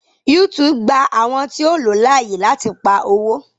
YouTube gba àwọn tíó o ló láàyè lati pá owo.